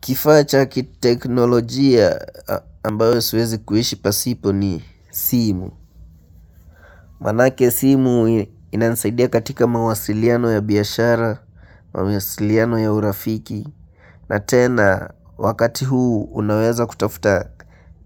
Kifacha cha kiteknolojia ambayo siwezi kuishi pasipo ni simu Manake simu inanisaidia katika mawasiliano ya biashara, mawasiliano ya urafiki na tena wakati huu unaweza kutafuta